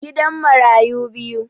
Gidan marayu biyu